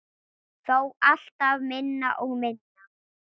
Þó alltaf minna og minna.